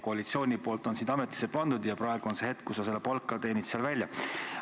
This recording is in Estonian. Koalitsioon on sind ametisse pannud ja praegu on see hetk, kui sa seda palka seal välja teenid.